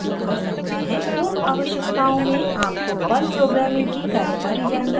पूर्व आवश्यकताओं में आपको पर्ल प्रोग्रामिंग की कार्यकारी जानकारी होनी चाहिए